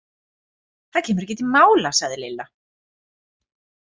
Það kemur ekki til mála sagði Lilla.